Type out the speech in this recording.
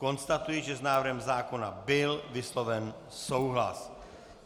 Konstatuji, že s návrhem zákona byl vysloven souhlas.